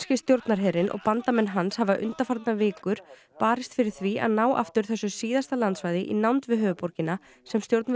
stjórnarherinn og bandamenn hans hafa undanfarnar vikur barist fyrir því að ná aftur þessu síðasta landsvæði í nánd við höfuðborgina sem stjórnvöld